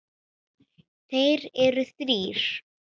Þeir eru þrír